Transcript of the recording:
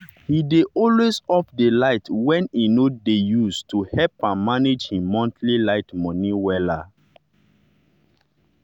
he dey always off the light wey he no dey use to help am manage him monthly light money wella.